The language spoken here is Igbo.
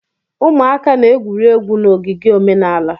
Ụmụaka na-egwuri egwu na ogige omenala.